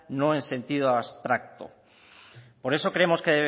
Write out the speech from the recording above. no en sentido abstracto por eso creemos que